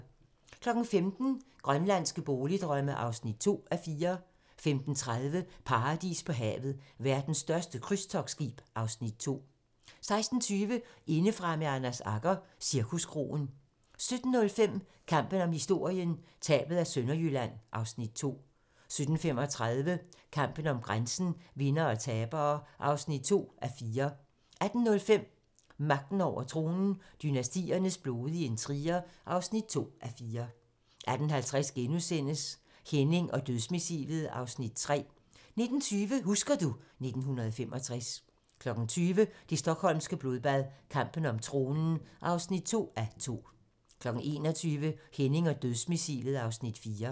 15:00: Grønlandske boligdrømme (2:4) 15:30: Paradis på havet - Verdens største krydstogtskib (Afs. 2) 16:20: Indefra med Anders Agger - Cirkuskroen 17:05: Kampen om historien - Tabet af Sønderjylland (Afs. 2) 17:35: Kampen om grænsen - Vindere og tabere (2:4) 18:05: Magten over tronen - Dynastiernes blodige intriger (2:4) 18:50: Henning og Dødsmissilet (Afs. 3)* 19:20: Husker du ... 1965 20:00: Det stockholmske blodbad - kampen om tronen (2:2) 21:00: Henning og Dødsmissilet (Afs. 4)